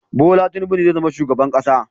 Bola Tinubu zai zama shugaban Najeriya